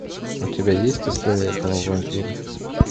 у тебя есть история одного вампира